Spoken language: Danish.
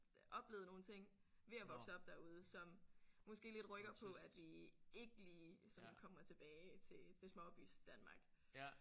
Oplevet nogle ting ved at vokse op derude som måske lidt rykker på at vi ikke lige sådan kommer tilbage til til småbysdanmark